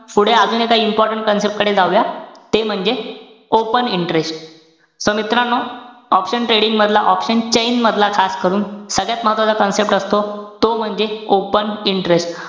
पुढे अजून एका important concept कडे जाऊया. ते म्हणजे, open interest त मित्रांनो, option trading मधला, option chain मधला खास करून सगळ्यात महत्वाचा concept असतो. तो म्हणजे open interest.